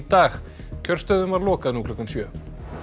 dag kjörstöðum var lokað nú klukkan sjö